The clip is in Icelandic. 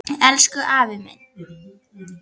Elsku, elsku afi minn.